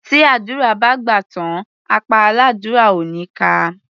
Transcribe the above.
Tí àdúrà bá gbà tán, apá aládúrà ò ní ká a.